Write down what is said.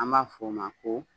An b'a fɔ o ma ko